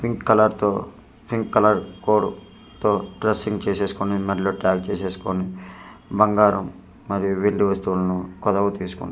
Pink colour తో pink colour code తో dressing చేసేసుకుని మెడలో టాగ్ చేసేసుకుని బంగారం మరియు వెండి వస్తువులను కొదవ తీసుకుంటున్నారు.